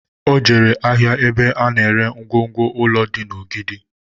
O jere ahịa ebe a na ere ngwongwo ụlọ dị na Ogidi